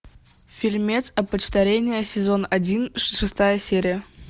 фильмец опочтарение сезон один шестая серия